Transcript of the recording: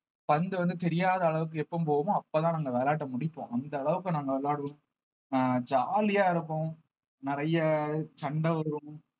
பந்து வந்து தெரியாத அளவுக்கு எப்ப போகுமோ அப்பதான் நாங்க விளையாட்ட முடிப்போம் அந்த அளவுக்கு நாங்க விளையாடுவோம் அஹ் ஜாலியா இருப்போம் நிறைய சண்டை வரும்